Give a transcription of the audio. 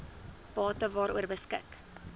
bate waaroor beskik